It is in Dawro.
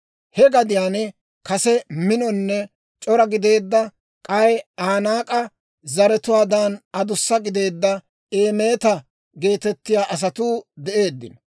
(He gadiyaan kase minonne c'ora gideedda, k'ay Anaak'e zaratuwaadan adussa gideedda Eemeta geetettiyaa asatuu de'eeddino.